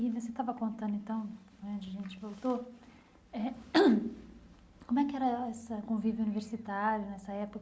E você estava contando, então né, de gente voltou eh, como é que era essa convívio universitário nessa